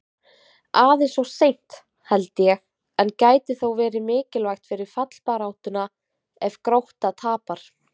Aðeins of seint, held ég, en gæti þó verið mikilvægt fyrir fallbaráttuna ef Grótta tapar!